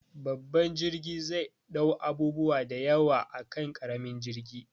Babban jirgi zai ɗau abubuwa da yawa akan ƙaramin jirgi